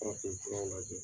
Farafinfuraw lajɛ .